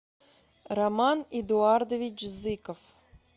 роман эдуардович зыков